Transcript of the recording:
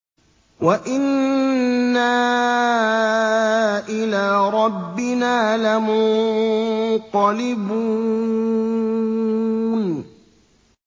وَإِنَّا إِلَىٰ رَبِّنَا لَمُنقَلِبُونَ